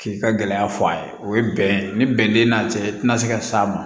K'i ka gɛlɛya fɔ a ye o ye bɛn ye ni bɛn tɛ n'a cɛ tɛna se ka s'a ma